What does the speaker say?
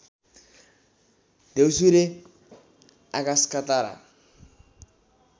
द्यौसुरे आकाशका तारा